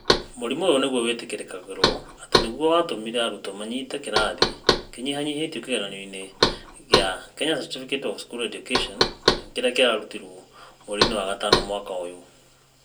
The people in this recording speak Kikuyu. Mũrimũ ũyũ nĩ guo wĩtĩkĩrĩkagĩrũo atĩ nĩ guo watũmire arutwo manyite kĩrathi kĩnyihanyiihĩtio kĩgeranio-inĩ kĩa Kenya Certificate of Secondary Examination kĩrĩa kĩarutirũo mweri-inĩ wa gatano mwaka ũyũ.